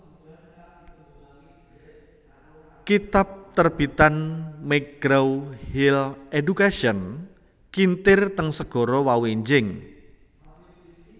kitab terbitan McGraw Hill Education kintir teng segara wau enjing